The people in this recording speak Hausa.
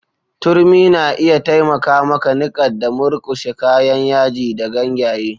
Turmi na iya taimaka maka niƙa da murkushe kayan yaji da ganyaye.